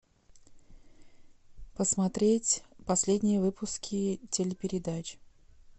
посмотреть последние выпуски телепередач